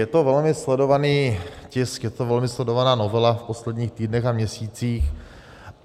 Je to velmi sledovaný tisk, je to velmi sledovaná novela v posledních týdnech a měsících.